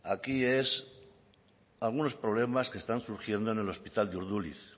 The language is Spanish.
aquí son algunos problemas que están surgiendo en el hospital de urduliz